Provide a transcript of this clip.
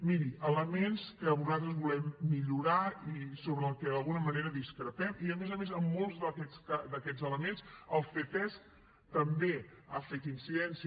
miri elements que nosaltres volem millorar i sobre els que d’alguna manera discrepem i a més a més en molts d’aquests elements el ctesc també hi ha fet incidència